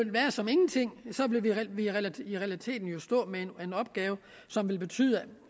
som ingenting i realiteten ville stå med en opgave som ville betyde